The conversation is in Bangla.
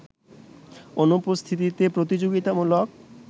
অনুপস্থিতিতে প্রতিযোগিতামূলক